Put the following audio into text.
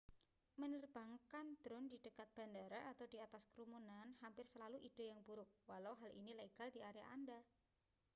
menerbangkan drone di dekat bandara atau di atas kerumunan hampir selalu ide yang buruk walau hal ini legal di area anda